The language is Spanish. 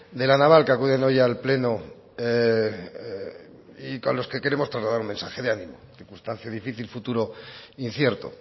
de la naval que acuden hoy al pleno y con los que queremos trasladar un mensaje de ánimo circunstancia difícil futuro incierto